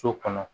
So kɔnɔ